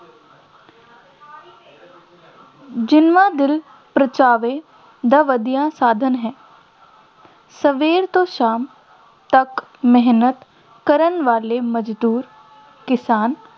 ਦਿਲ ਪਰਚਾਵੇ ਦਾ ਵਧੀਆ ਸਾਧਨ ਹੈ ਸਵੇਰੇ ਤੋਂ ਸ਼ਾਮ ਤੱਕ ਮਿਹਨਤ ਕਰਨ ਵਾਲੇ ਮਜ਼ਦੂਰ ਕਿਸਾਨ